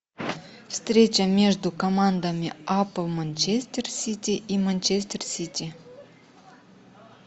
встреча между командами апл манчестер сити и манчестер сити